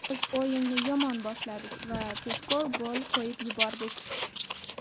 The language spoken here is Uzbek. Biz o‘yinni yomon boshladik va tezkor gol qo‘yib yubordik.